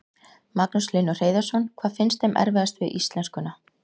Magnús Hlynur Hreiðarsson: Hvað finnst þeim erfiðast við íslenskun?